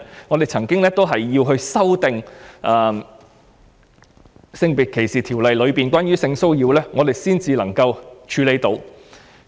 我們以往也曾修訂《性別歧視條例》內有關性騷擾的定義，以處理相關的情況。